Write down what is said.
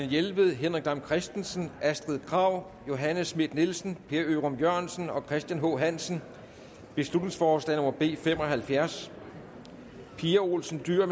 jelved henrik dam kristensen astrid krag johanne schmidt nielsen per ørum jørgensen og christian h hansen beslutningsforslag nummer b fem og halvfjerds pia olsen dyhr